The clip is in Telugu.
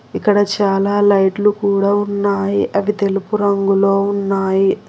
ఇక్కడ చాలా లైట్లు కూడా ఉన్నాయి అవి తెలుపు రంగులో ఉన్నాయి.